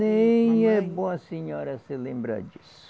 Nem é bom a senhora se lembrar disso.